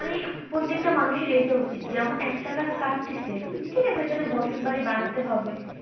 প্রত্যেকটা মানুষের এইটা উচিত যেমন একটা গাছ কাটতেছেন হম ঠিক আছে ওখানে বসত বাড়ি বানাতে হবে ।